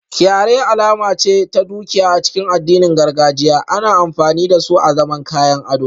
Kyare alama ce ta dukiya a cikin addinin gargajiya, ana amfani da su azaman kayan ado